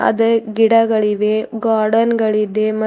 ಅದೇ ಗಿಡಗಳಿವೆ ಗಾರ್ಡನ್ ಗಳಿದೆ ಮ--